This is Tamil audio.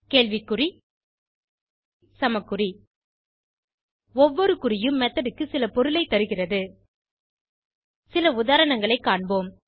கேள்வி குறி சமக்குறி ஒவ்வொரு குறியும் மெத்தோட் க்கு சில பொருளை தருகிறது சில உதாரணங்களை காண்போம்